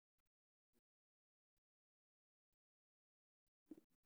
Mas'uuliyadda madaniga ah waa in lagu daraa manhajyada dugsiga.